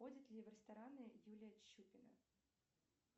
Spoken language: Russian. ходит ли в рестораны юлия чупина